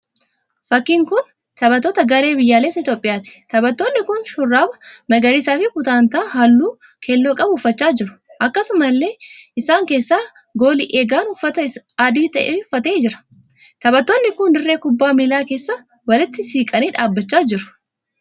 Fakkiin kun taphattoota garee biyyaaleessa Itiyoopiyaati. Taphattoonni kun shurraaba magariisaa fi putaantaa halluu keelloo qabu uffachaa jiru. Akkasumallee isaan keessaa gali eegaan uffata adii uffatee jira. Taphattoonni kun dirree kubbaa miillaa keessa walitti siqanii dhaabbachaa jiru.